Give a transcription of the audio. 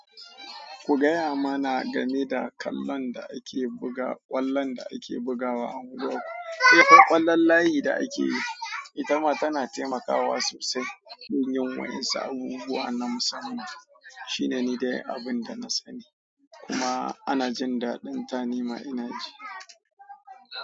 Kugaya ma na game da kallon da ake buga, ƙwallon da ake bugawa a unguwarku. Akwai, ƙwallon layi da ake yi. Ita ma tana taimakawa sosai wurin yin wa yansu abubuwa na musamman. Shi ne ni dai abin da na sani, kuma ana jin daɗin ta ni ma ina ji.